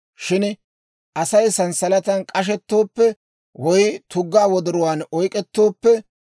Shin Asay sanssalatan k'ashettooppe, woy tuggaa wodoruwaan oyk'k'ettooppe,